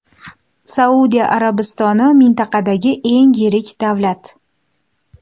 Saudiya Arabistoni mintaqadagi eng yirik davlat.